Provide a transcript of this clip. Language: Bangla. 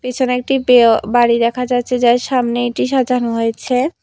পিছনে একটি পেও বাড়ি দেখা যাচ্ছে যার সামনে এটি সাজানো হয়েছে।